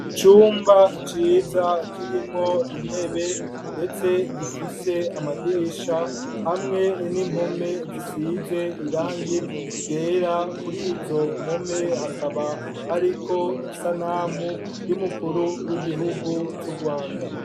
Icumba ciza, kirimwo intebe, ndetse gifise amadirisha, hamwe n'impome zisize irangi ryera; kuri izo mpome, hakaba hariko isanamu, y'umukuru w'igihugu c'Urwanda.